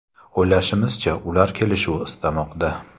O‘ylashimizcha, ular kelishuv istamoqda.